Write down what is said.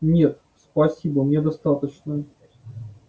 нет спасибо мне достаточно